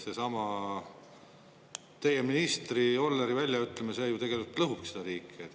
Seesama teie ministri Jolleri väljaütlemine, see ju tegelikult lõhubki seda riiki.